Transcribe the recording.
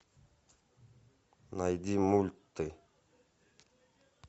найди мульты